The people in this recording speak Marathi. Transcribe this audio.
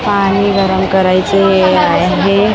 पाणी गरम करायचं हे आहे --